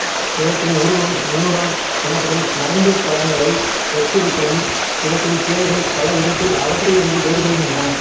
இவற்றின் உருவம் நியூரோன் எனப்படும் நரம்புக் கலங்களை ஒத்திருப்பினும் இவற்றின் கிளைகள் பல விதத்தில் அவற்றிலிருந்து வேறுபடுகின்றன